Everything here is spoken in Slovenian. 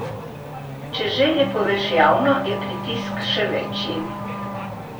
Če željo poveš javno, je pritisk še večji.